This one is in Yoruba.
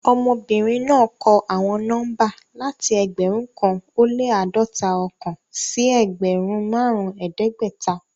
Ọmọbinrin naa kọ awọn nọmba lati ẹgbẹrun kan o le ãdọta-ọkan si ẹgbẹrun marun ẹdẹgbẹta